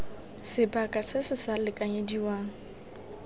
sebaka se se sa lekanyediwang